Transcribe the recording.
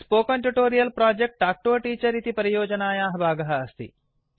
spoken tutorial project talk to a teacher इति परियोजनायाः भागः अस्ति